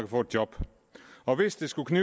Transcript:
få et job og hvis det skulle